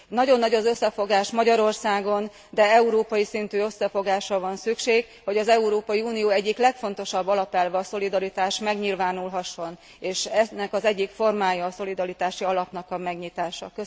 Nagyon nagy az összefogás Magyarországon, de európai szintű összefogásra van szükség, hogy az Európai Unió egyik legfontosabb alapelve, a szolidaritás megnyilvánulhasson, és ennek az egyik formája a szolidaritási alapnak a megnyitása.